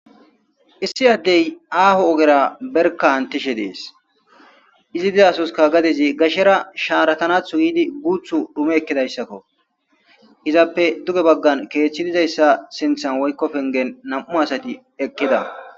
issi addey aaho ogera berka hantishe dees izi dizasoska gadezi gashshera shaaratanathu giidi guuthu dume ekkidayssakko izappe duge baggan keethchi dizayssa sinthan waykko pengen nam7u asati ekkida